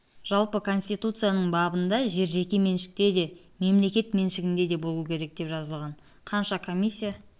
жалпы конституцияның бабында жер жеке меншікте де мемлекет меншігінде де болуы керек деп жазылған қанша комиссия